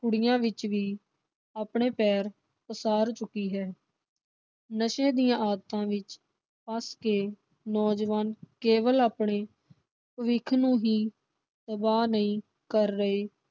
ਕੁੜੀਆਂ ਵਿਚ ਵੀ ਆਪਣੇ ਪੈਰ ਪਸਾਰ ਚੁੱਕੀ ਹੈ। ਨਸ਼ੇ ਦੀਆਂ ਆਦਤਾਂ ਵਿਚ ਫਸ ਕੇ ਨੌਜਵਾਨ ਕੇਵਲ ਆਪਣੇ ਭਵਿੱਖ ਨੂੰ ਹੀ ਤਬਾਹ ਨਹੀਂ ਕਰ ਰਹੇ l